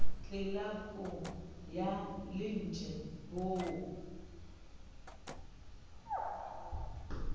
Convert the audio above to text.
tlelapo ya lantjhe b o